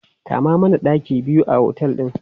Kama mana ɗaki biyu a otel ɗin!